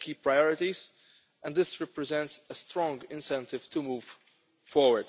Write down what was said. key priorities, and this represents a strong incentive to move forward.